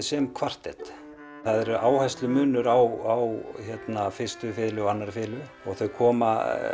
sem kvartett það er áherslumunur á fyrstu fiðlu og annarri fiðlu þau komu